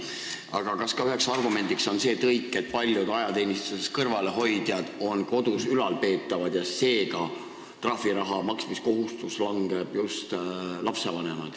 Aga kas üheks argumendiks oli ka see tõik, et paljud ajateenistusest kõrvale hoidjad on ülalpeetavad ja seega langeb trahviraha maksmise kohustus just lapsevanematele?